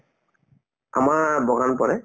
আমাৰ বাগান পৰে